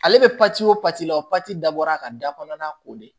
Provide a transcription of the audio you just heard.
Ale bɛ o la o dabɔra a ka da kɔnɔna ko de ye